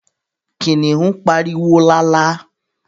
Kìnìún pariwo lálá